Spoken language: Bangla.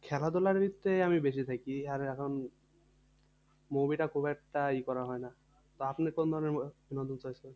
খেলাধুলার দিকটায় আমি বেশি দেখি আর এখন movie টা খুব একটা ই করা হয় না তো আপনি কোন ধরনের movie আহ